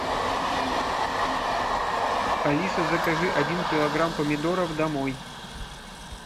алиса закажи один килограмм помидоров домой